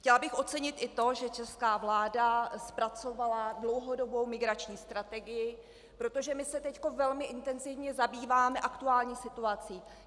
Chtěla bych ocenit i to, že česká vláda zpracovala dlouhodobou migrační strategii, protože my se teď velmi intenzivně zabýváme aktuální situací.